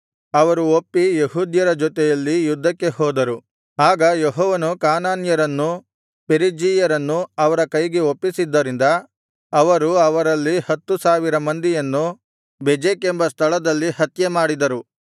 ಅವರು ಒಪ್ಪಿ ಯೆಹೂದ್ಯರ ಜೊತೆಯಲ್ಲಿ ಯುದ್ಧಕ್ಕೆ ಹೋದರು ಆಗ ಯೆಹೋವನು ಕಾನಾನ್ಯರನ್ನೂ ಪೆರಿಜ್ಜೀಯರನ್ನೂ ಅವರ ಕೈಗೆ ಒಪ್ಪಿಸಿದ್ದರಿಂದ ಅವರು ಅವರಲ್ಲಿ ಹತ್ತು ಸಾವಿರ ಮಂದಿಯನ್ನು ಬೆಜೆಕ್ ಎಂಬ ಸ್ಥಳದಲ್ಲಿ ಹತ್ಯೆಮಾಡಿದರು